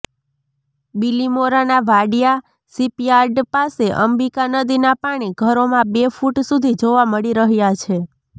બિલિમોરાના Wadia shipyard પાસે અંબિકા નદીના પાણી ઘરોમાં બે ફુટ સુધી જોવા મળી રહ્યા છે